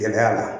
Gɛlɛya la